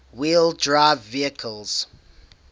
wheel drive vehicles